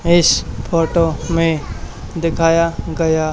इस फोटो में दिखाया गया--